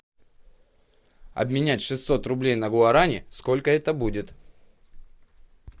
обменять шестьсот рублей на гуарани сколько это будет